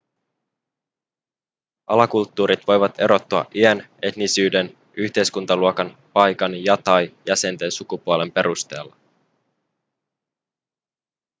alakulttuurit voivat erottua iän etnisyyden yhteiskuntaluokan paikan ja/tai jäsenten sukupuolen perusteella